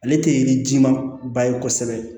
Ale tɛ yiri jima ba ye kosɛbɛ